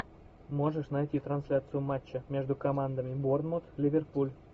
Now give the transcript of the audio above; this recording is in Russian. можешь найти трансляцию матча между командами борнмут ливерпуль